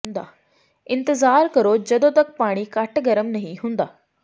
ਇੰਤਜ਼ਾਰ ਕਰੋ ਜਦੋਂ ਤੱਕ ਪਾਣੀ ਘੱਟ ਗਰਮ ਨਹੀਂ ਹੁੰਦਾ